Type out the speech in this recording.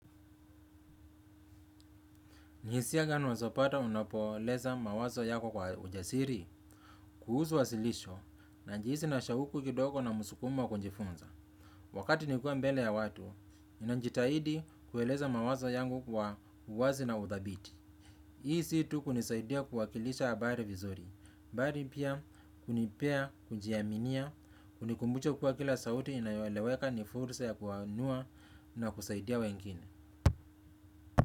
Ni hisia gani unaezapata unapoeleza mawazo yako kwa ujasiri, kuhusu wasilisho, na jinsi na shauku kidogo na msukumo wa kujifunza. Wakati nilikuwa mbele ya watu, ninajitahidi kueleza mawazo yangu kwa uwazi na uthabiti. Hii si tu kunisaidia kuwakilisha habari vizuri, bari pia kunipea kujiaminia, kunikumbusha kuwa kila sauti inayoeleweka ni fursa ya kuanua na kusaidia wengine.